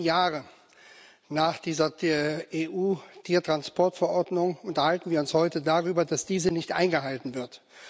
Zehn Jahre nach dieser EU Tiertransportverordnung unterhalten wir uns heute darüber, dass diese nicht eingehalten wird.